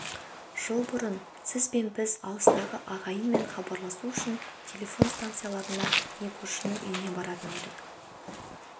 жыл бұрын сіз бен біз алыстағы ағайынмен хабарласу үшін телефон станцияларына не көршінің үйіне баратын едік